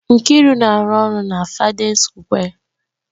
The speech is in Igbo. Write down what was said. Nkiru na-arụ ọrụ na Fádén Sukwé